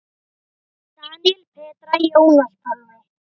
Daníel, Petra, Jónas Pálmi.